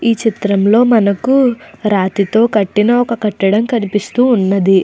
ఈ చిత్రం లో మనకు రాతితో కట్టిన ఒక కట్టడం కనిపిస్తూ ఉన్నది.